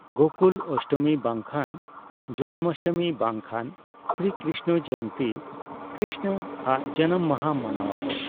ᱜᱳᱠᱩᱞ ᱚᱥᱴᱚᱢᱤ ᱵᱟᱝ ᱠᱷᱟᱱ ᱡᱚᱱᱢᱟᱥᱴᱚᱢᱤ ᱵᱟᱝ ᱠᱷᱟᱱ ᱥᱨᱤ ᱠᱨᱤᱥᱱᱚ ᱡᱚᱭᱚᱱᱛᱤ ᱠᱨᱤᱥᱱᱚ ᱟᱜ ᱡᱟᱱᱟᱢ ᱢᱟᱦᱟ ᱢᱟᱱᱟᱣ ᱟᱠᱚ᱾